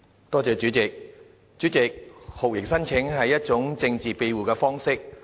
代理主席，酷刑聲請是一種政治庇護的方式。